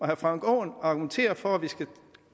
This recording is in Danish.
herre frank aaen argumenterer for at vi skal